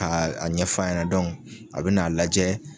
Ka a ɲɛf'a ɲɛnɛ a bɛ n'a lajɛ.